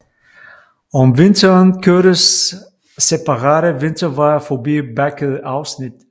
Om vinteren kørtes separate vinterveje forbi bakkede afsnit